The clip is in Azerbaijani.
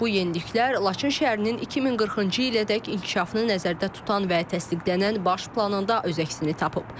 Bu yeniliklər Laçın şəhərinin 2040-cı ilədək inkişafını nəzərdə tutan və təsdiqlənən baş planında öz əksini tapıb.